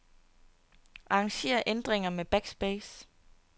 Arranger ændringer med backspace.